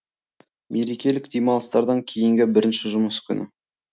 мерекелік демалыстардан кейінгі бірінші жұмыс күні